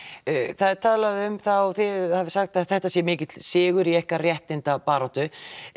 það er talað um að þetta sé mikill sigur í ykkar réttindabaráttu